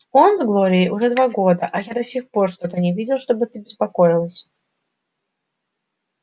он с глорией уже два года а до сих пор я что-то не видел чтобы ты беспокоилась